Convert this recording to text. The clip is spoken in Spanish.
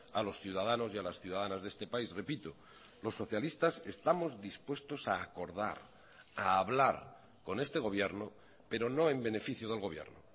a los ciudadanos y a las ciudadanas de este país repito los socialistas estamos dispuestos a acordar a hablar con este gobierno pero no en beneficio del gobierno